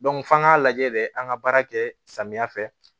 f'an k'a lajɛ de an ka baara kɛ samiya fɛ